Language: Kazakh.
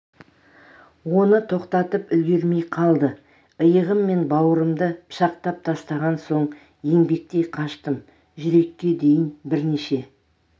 оны тоқтатып үлгермей қалды иығым мен бауырымды пышақтап тастаған соң еңбектей қаштым жүрекке дейін бірнеше